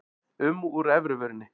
um úr efri vörinni.